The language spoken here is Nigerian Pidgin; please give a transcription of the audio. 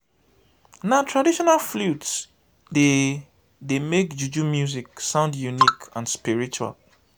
na traditional flute dey dey make juju music sound unique and spiritual.